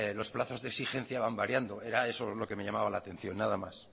los plazos de exigencia van variando era eso lo que me llamaba la atención nada más